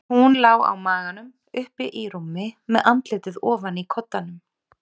Hún lá á maganum uppi í rúmi, með andlitið ofan í koddanum.